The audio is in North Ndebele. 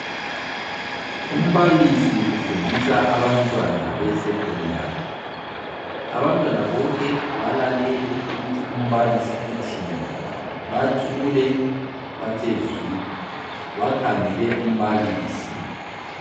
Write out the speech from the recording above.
Umbalisi ufundisa abantwana be secondary, abantwana bonke balalele ukuthi umbalisi uthini. Bathule bathe zwi bakhangele umbalisi.